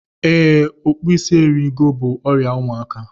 Ee, okpu ịsị eri ego bú ọrịa ụmụaka.